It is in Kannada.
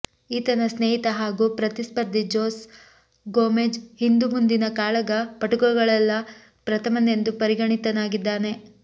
ಈತನ ಸ್ನೇಹಿತ ಹಾಗೂ ಪ್ರತಿಸ್ಪರ್ಧಿ ಜೊಸೆ ಗೋಮೆಜ಼್ ಹಿಂದು ಮುಂದಿನ ಕಾಳಗ ಪಟುಗಳಲ್ಲೆಲ್ಲ ಪ್ರಥಮನೆಂದು ಪರಿಗಣಿತನಾಗಿದ್ದಾನೆ